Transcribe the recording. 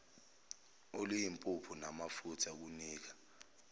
oluyimpuphu namafutha kunika